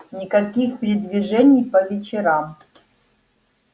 никаких передвижений по вечерам